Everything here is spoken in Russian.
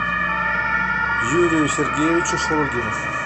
юрию сергеевичу шурыгину